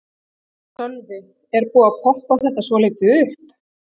Sölvi: Er búið að poppa þetta svolítið upp?